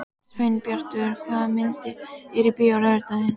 Sveinbjartur, hvaða myndir eru í bíó á laugardaginn?